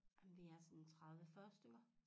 Ej men vi er sådan 30 40 stykker